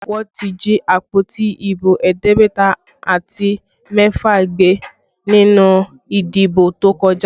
Wọ́n jí àpótí ibo ẹ̀ẹ́dẹ́gbẹ̀ta àti mẹ́fà gbé nínú ìdìbò tó kọjá